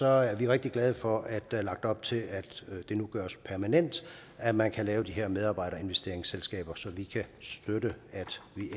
er vi rigtig glade for at der er lagt op til at det nu gøres permanent at man kan lave de her medarbejderinvesteringsselskaber så vi kan støtte at vi